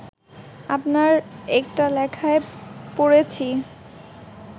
আপনার একটা লেখায় পড়েছি